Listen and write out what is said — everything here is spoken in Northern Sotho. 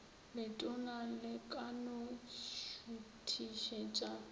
letona le ka no šuthišetša